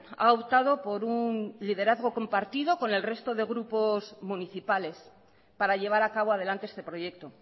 ha optado por un liderazgo compartido con el resto de grupos municipales para llevar a cabo adelante este proyecto